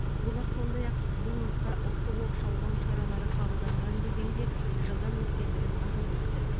олар сондай ақ бұл нұсқа ұлттық оқшаулау шаралары қабылданған кезеңде жылдам өскендігін атап өтті